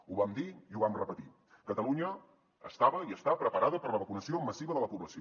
ho vam dir i ho vam repetir catalunya estava i està preparada per a la vacunació massiva de la població